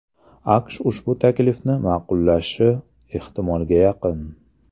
AQSh ushbu taklifni ma’qullashi ehtimolga yaqin.